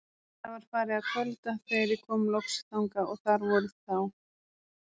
Það var farið að kvölda þegar ég kom loks þangað og þar voru þá